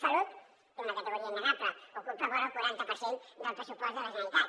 salut té una categoria innegable ocupa vora el quaranta per cent del pressupost de la generalitat